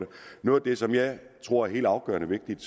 noget af det som jeg tror er helt afgørende vigtigt